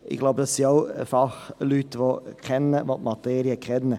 Ich glaube, das sind auch Fachleute, die die Materie kennen.